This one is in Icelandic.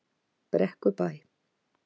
Brekkubæ